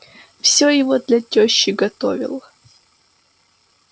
все его для тёщи готовил